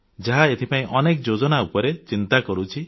ଯାହା ଏଥିପାଇଁ ଅନେକ ଯୋଜନା ଉପରେ ଚିନ୍ତା କରୁଛି